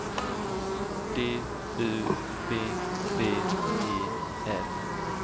D U B B E L